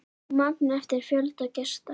Magn eftir fjölda gesta.